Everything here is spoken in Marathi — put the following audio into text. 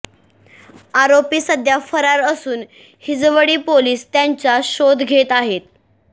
आरोपी सध्या फरार असून हिंजवडी पोलिस त्यांचा शोध घेत आहेत